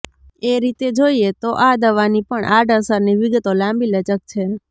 એ રીતે જોઈએ તો આ દવાની પણ આડઅસરની વિગતો લાંબીલચક છે